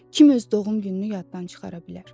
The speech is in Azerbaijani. kim öz doğum gününü yaddan çıxara bilər.